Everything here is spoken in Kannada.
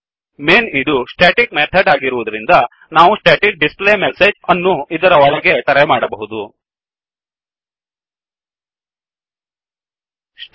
ಮೇನ್ ಇದು ಸ್ಟೆಟಿಕ್ ಮೆಥಡ್ ಆಗಿರುವದರಿಂದ ನಾವು static display message static display message ಅನ್ನು ಇದರ ಒಳಗೆ ಕರೆ ಮಾಡಬಹುದು